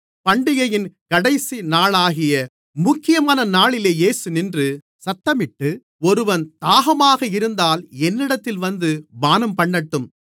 பண்டிகையின் கடைசிநாளாகிய முக்கியமான நாளிலே இயேசு நின்று சத்தமிட்டு ஒருவன் தாகமாக இருந்தால் என்னிடத்தில் வந்து பானம்பண்ணட்டும்